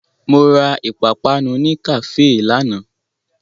Mo ra ìpapánu ní kàféè lánàá.